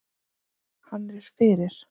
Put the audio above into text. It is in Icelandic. Hann er fyrir.